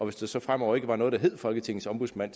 hvis der så fremover ikke var noget der hed folketingets ombudsmand